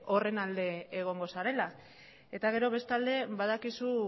horren alde egongo zarela eta gero bestalde badakizu